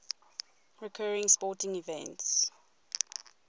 recurring sporting events